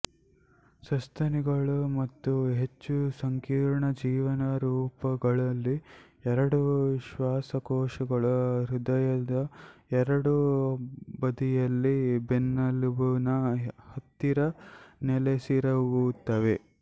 ಸಸ್ತನಿಗಳು ಮತ್ತು ಹೆಚ್ಚು ಸಂಕೀರ್ಣ ಜೀವರೂಪಗಳಲ್ಲಿ ಎರಡು ಶ್ವಾಸಕೋಶಗಳು ಹೃದಯದ ಎರಡೂ ಬದಿಯಲ್ಲಿ ಬೆನ್ನೆಲುಬಿನ ಹತ್ತಿರ ನೆಲೆಸಿರುತ್ತವೆ